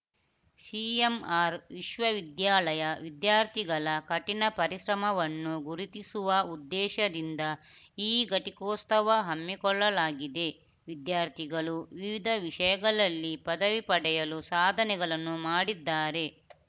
CMR ವಿಶ್ವವಿದ್ಯಾಲಯ ವಿದ್ಯಾರ್ಥಿಗಳ ಕಠಿಣ ಪರಿಶ್ರಮವನ್ನು ಗುರುತಿಸುವ ಉದ್ದೇಶದಿಂದ ಈ ಘಟಿಕೋತ್ಸವ ಹಮ್ಮಿಕೊಳ್ಳಲಾಗಿದೆ ವಿದ್ಯಾರ್ಥಿಗಳು ವಿವಿಧ ವಿಷಯಗಳಲ್ಲಿ ಪದವಿ ಪಡೆಯಲು ಸಾಧನೆಗಳನ್ನು ಮಾಡಿದ್ದಾರೆ